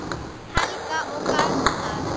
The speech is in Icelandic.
Helga og Garðar.